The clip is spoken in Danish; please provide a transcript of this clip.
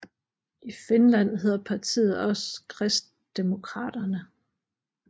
I Finland hedder partiet også Kristdemokraterna